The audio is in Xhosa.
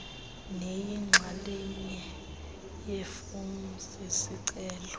neyinxalenye yeefomu zezicelo